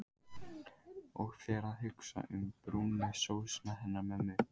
Og fer að hugsa um brúnu sósuna hennar mömmu.